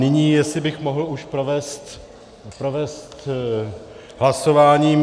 Nyní, jestli bych už mohl provést hlasováním.